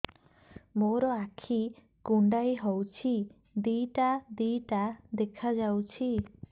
ମୋର ଆଖି କୁଣ୍ଡାଇ ହଉଛି ଦିଇଟା ଦିଇଟା ଦେଖା ଯାଉଛି